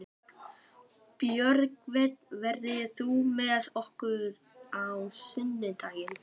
Björgvin, ferð þú með okkur á sunnudaginn?